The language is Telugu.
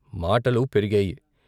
మాటలు పెరిగాయి.